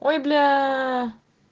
ой бля